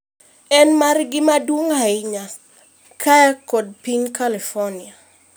en margi maduong' ahinya kae kod piny California